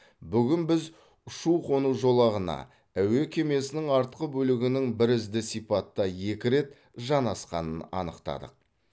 бүгін біз ұшу қону жолағына әуе кемесінің артқы бөлігінің бірізді сипатта екі рет жанасқанын анықтадық